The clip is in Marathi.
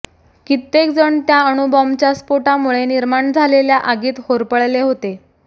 कित्येक जण त्या अणुबॉम्बच्या स्फोटामुळे निर्माण झालेल्या आगीत होरपळले होते